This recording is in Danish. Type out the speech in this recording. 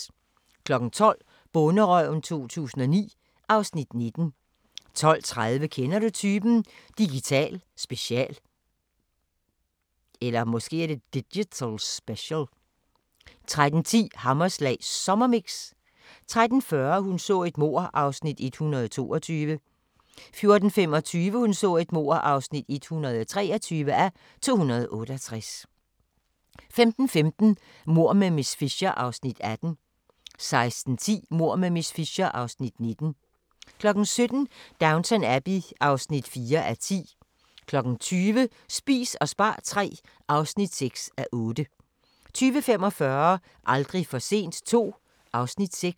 12:00: Bonderøven 2009 (Afs. 19) 12:30: Kender du typen? – Digital special 13:10: Hammerslag Sommermix 13:40: Hun så et mord (122:268) 14:25: Hun så et mord (123:268) 15:15: Mord med miss Fisher (Afs. 18) 16:10: Mord med miss Fisher (Afs. 19) 17:00: Downton Abbey (4:10) 20:00: Spis og spar III (6:8) 20:45: Aldrig for sent II (Afs. 6)